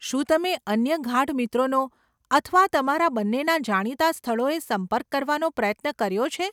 શું તમે અન્ય ગાઢ મિત્રોનો અથવા તમારા બંનેના જાણીતાં સ્થળોએ સંપર્ક કરવાનો પ્રયત્ન કર્યો છે?